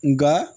Nka